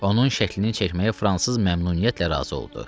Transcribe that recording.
Onun şəklini çəkməyə fransız məmnuniyyətlə razı oldu.